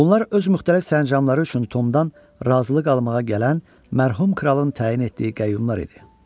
Bunlar öz müxtəlif sərəncamları üçün Tomdan razılıq almağa gələn mərhum kralın təyin etdiyi qəyyumlar idi.